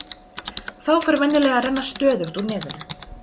Þá fer venjulega að renna stöðugt úr nefinu.